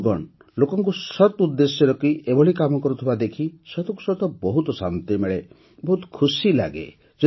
ବନ୍ଧୁଗଣ ଲୋକଙ୍କୁ ସତ୍ ଉଦ୍ଦେଶ୍ୟ ରଖି ଏଭଳି କାମ କରୁଥିବା ଦେଖି ସତକୁ ସତ ବହୁତ ଶାନ୍ତି ମିଳେ ବହୁତ ଖୁସି ଲାଗେ